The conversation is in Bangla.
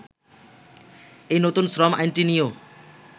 এই নতুন শ্রম আইনটি নিয়েও